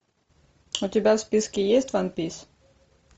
у тебя в списке есть ван пис